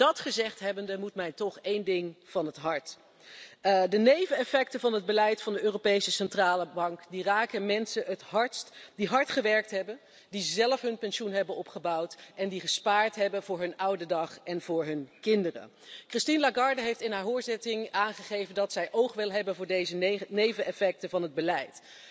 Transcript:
Dat gezegd hebbende, moet mij toch één ding van het hart de neveneffecten van het beleid van de Europese Centrale Bank, raken mensen het hardst die hard gewerkt hebben, die zelf hun pensioen hebben opgebouwd en die gespaard hebben voor hun oude dag en voor hun kinderen. Christine Lagarde heeft in haar hoorzitting aangegeven dat zij oog wil hebben voor deze neveneffecten van het beleid.